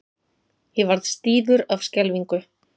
Ég varð stífur af skelfingu.